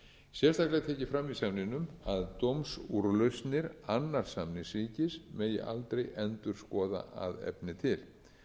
verið kveðinn upp í máli milli sömu aðila sérstaklega er tekið fram í samningnum að dómsúrlausnir annars samningsríkis megi aldrei endurskoða að efni til